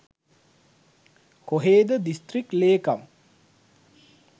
කොහෙද දිසිත්‍රික් ලේකම්